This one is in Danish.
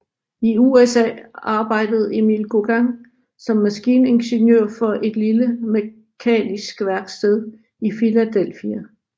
I USA arbejdede Emil Gauguin som maskiningeniør for et lille mekanisk værksted i Philadelphia